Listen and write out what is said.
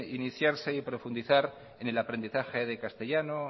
iniciarse y profundizar en el aprendizaje del castellano